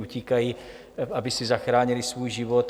Utíkají, aby si zachránily svůj život.